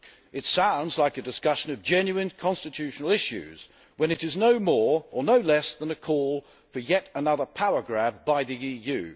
It sounds like a discussion of genuine constitutional issues, when it is no more or no less than a call for yet another power grab by the EU.